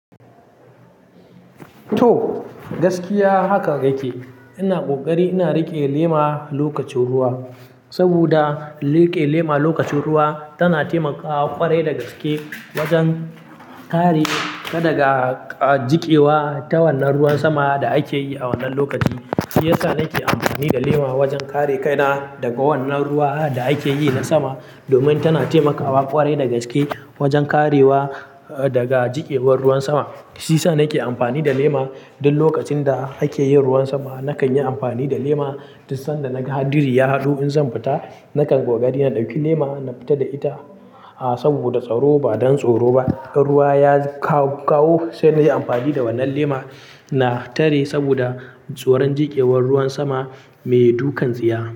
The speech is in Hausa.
To, gaskiya haka yake. Ina kokari ina riƙe lema lokacin ruwa, saboda riƙe lema lokacin ruwa tana taimakawa ƙwarai da gaske wajen kare ka daga, ah, jikewa ta wannan ruwan sama da ake yi a wannan lokaci. Shi yasa nake amfani da lema wajen kare kaina daga wannan ruwa da ake yi na sama, domin tana taimakawa ƙwarai da gaske wajen karewa, ah, daga jikewar ruwan sama. Shi yasa nake amfani da lema duk lokacin da ake yin ruwan sama. Nakan yi amfani da lema, tunda naga hadiri ya haɗu in zan fita, nakan koƙari na ɗauki lema na fita da ita. Ah, saboda tsaro ba don tsoro ba. In ruwa ya kawo, sai na yi amfani da wannan lema na tare saboda tsoron jikewar ruwan sama mai dukan tsiya.